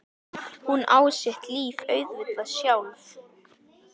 Hún á sitt líf auðvitað sjálf.